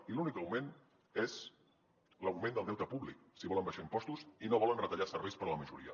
i l’únic augment és l’augment del deute públic si volen abaixar impostos i no volen retallar serveis per a la majoria